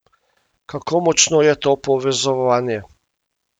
Kako močno je to povezovanje?